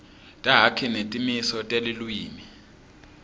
takhi netimiso telulwimi